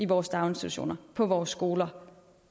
vores daginstitutioner på vores skoler